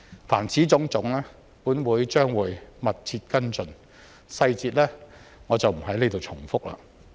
凡此種種，本會將會密切跟進，我不在此重複細節。